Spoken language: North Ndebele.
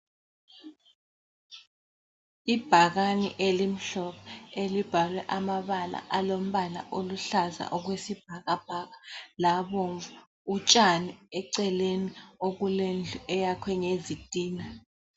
Ibhakane elimhlophe elibhalwe amabala alombala oluhlaza okwesibhakabhaka labomvu, utshani eceleni okulendlu eyakhwe ngezitina.